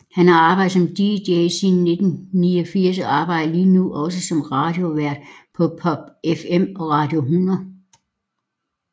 Han har arbejdet som dj siden 1989 og arbejder lige nu også som radiovært på PopFM og Radio 100